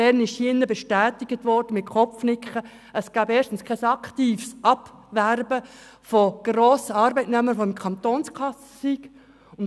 2008 wurde in diesen Saal bestätigt, dass es kein aktives Abwerben von Grossarbeitnehmern gibt, welche in der Kantonskasse sind.